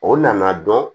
O nana dɔn